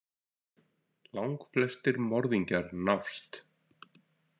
Langflestir morðingjar nást.